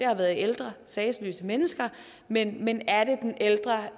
har været ældre sagesløse mennesker men men er det den ældre